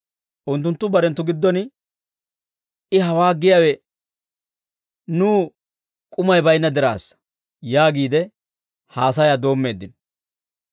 Unttunttu barenttu giddon, «I hawaa giyaawe nuw k'umay baynna diraassa» yaagiide haasayaa doommeeddino.